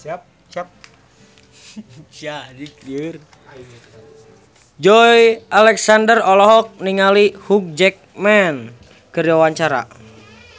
Joey Alexander olohok ningali Hugh Jackman keur diwawancara